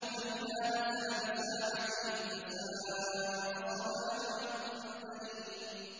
فَإِذَا نَزَلَ بِسَاحَتِهِمْ فَسَاءَ صَبَاحُ الْمُنذَرِينَ